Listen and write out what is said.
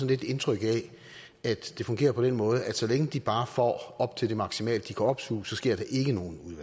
lidt indtryk af at det fungerer på den måde at så længe de bare får op til det maksimale de kan opsuge så sker der ikke nogen